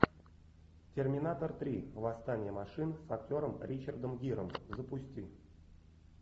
терминатор три восстание машин с актером ричардом гиром запусти